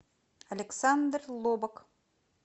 александр лобок